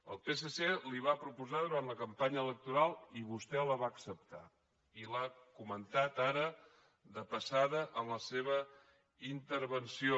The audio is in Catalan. el psc la hi va proposar durant la campanya electoral i vostè la va acceptar i l’ha comentada ara de passada en la seva intervenció